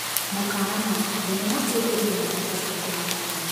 Mũkana: thenema ĩno ĩrĩ na mbica cia kũmakania